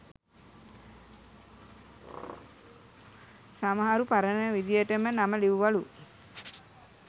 සමහරු පරණ විදියටම නම ලිවුවලු